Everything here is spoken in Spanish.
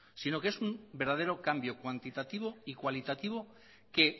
sino que es un verdadero cambio cuantitativo y cualitativo que